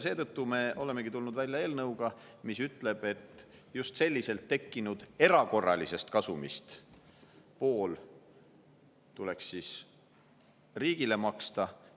Seetõttu me olemegi tulnud välja eelnõuga, mis ütleb, et just selliselt tekkinud erakorralisest kasumist pool tuleks riigile maksta.